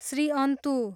श्रीअन्तु